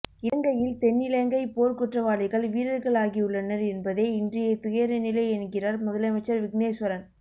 இலங்கையில் தென்னிலங்கை போர்க் குற்றவாளிகள் வீரர்களாகியுள்ளனர் என்பதே இன்றைய துயரநிலை என்கிறார் முதலமைச்சர் விக்னேஸ்வரன்